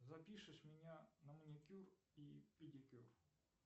запишешь меня на маникюр и педикюр